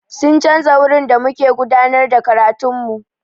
Sun canza wurin da muke gudanar da karatun mu.